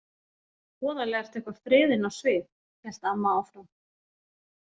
Voðalega ertu eitthvað freðin á svip, hélt amma áfram.